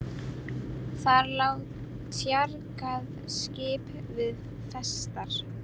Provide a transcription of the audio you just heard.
Þar lá tjargað skip við festar.